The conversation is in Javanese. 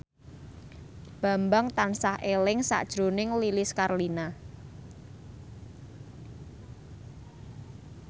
Bambang tansah eling sakjroning Lilis Karlina